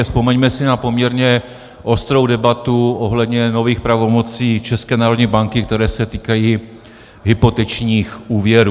A vzpomeňme si na poměrně ostrou debatu ohledně nových pravomocí České národní banky, které se týkají hypotečních úvěrů.